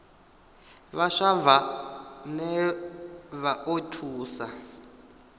vhaswa vhane vha o thusa